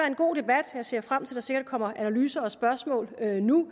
en god debat jeg ser frem til at der sikkert kommer analyser og spørgsmål nu